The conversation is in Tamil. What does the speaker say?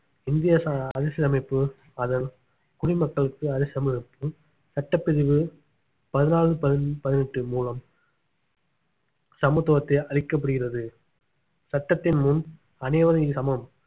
இந்திய ச~ அரசியலமைப்பு அதன் குடிமக்களுக்கு அரசியலமைப்பு சட்டப்பிரிவு பதினாலு பதினைந்து பதினெட்டு மூலம் சமத்துவத்தை அளிக்கப்படுகிறது சட்டத்தின் முன் அனைவரும் சமம்